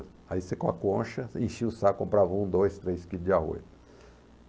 Aí você com a concha enchia o saco e comprava um dois três quilos de arroz.